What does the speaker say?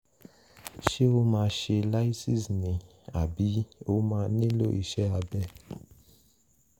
ṣé ó máa ṣe lysis ni àbí ó máa nílò iṣẹ́ abẹ?